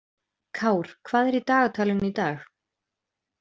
Kár, hvað er í dagatalinu í dag?